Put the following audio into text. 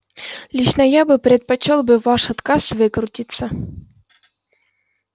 лично я бы предпочёл бы ваш отказ выкрутиться